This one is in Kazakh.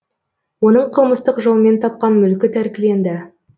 оның қылмыстық жолмен тапқан мүлкі тәркіленді